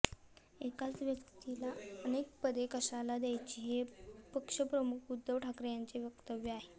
एकाच व्यक्तीला अनेक पदे कशाला द्यायची हे पक्षप्रमुख उद्धव ठाकरे यांचे वक्तव्य आहे